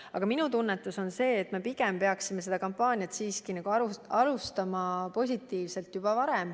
Aga minu tunnetus on, et me pigem peaksime seda kampaaniat siiski juba varem alustama.